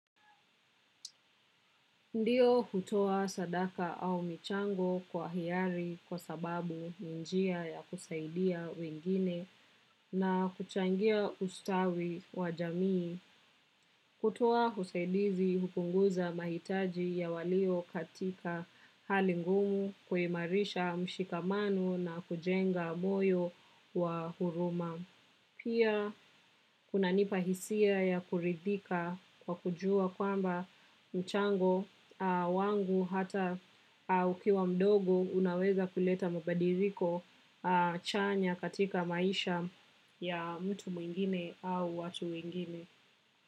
Ndio hutoa sadaka au michango kwa hiari kwa sababu ni njia ya kusaidia wengine na huchangia ustawi wa jamii. Kutoa usaidizi hupunguza mahitaji ya walio katika hali ngumu kuimarisha mshikamano na kujenga moyo wa huruma. Pia kuna nipahisia ya kuridhika kwa kujua kwamba mchango wangu hata ukiwa mdogo unaweza kuleta mabadiliko chanya katika maisha ya mtu mwingine au watu wengine.